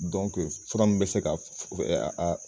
Dɔnke fura min be se ka